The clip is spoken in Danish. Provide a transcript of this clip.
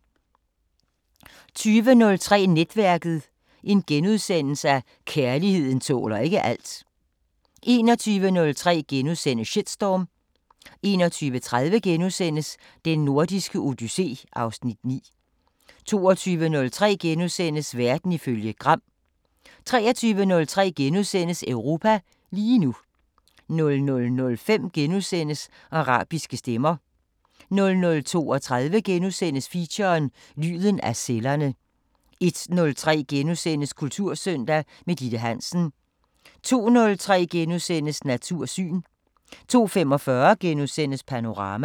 20:03: Netværket: Kærligheden tåler ikke alt * 21:03: Shitstorm * 21:30: Den Nordiske Odyssé (Afs. 9)* 22:03: Verden ifølge Gram * 23:03: Europa lige nu * 00:05: Arabiske Stemmer * 00:32: Feature: Lyden af cellerne * 01:03: Kultursøndag – med Ditte Hansen * 02:03: Natursyn * 02:45: Panorama *